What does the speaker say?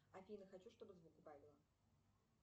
афина хочу чтобы звук убавила